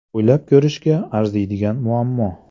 O‘ylab ko‘rishga arziydigan muammo.